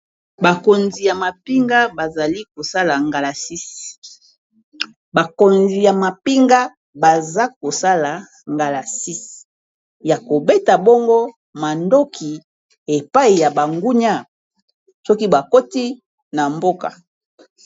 Bakonzi ya mapinga, baza kosala ngalasisi ya kobeta bongo mandoki epai ya bangunia soki bakoti na mboka.